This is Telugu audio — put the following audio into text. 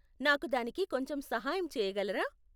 నాకు దానికి కొంచెం సహాయం చేయగలరా?